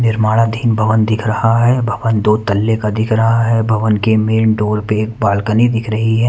निर्माणाधीन भवन दिख रहा हैं भवन दो तल्ले का दिख रहा हैं भवन के मेन डोर पे एक बालकनी दिख रही हैं।